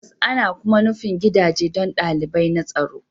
Tabbas, ana kuma nufin gidaje don dalilai na tsaro